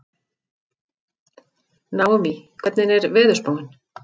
Naómí, hvernig er veðurspáin?